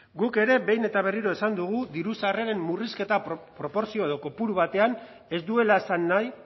guk ere behin eta berriro esan dugu diru sarreren murrizketa proportzio edo kopuru batean ez duela esan nahi